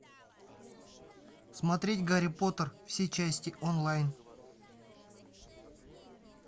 смотреть гарри поттер все части онлайн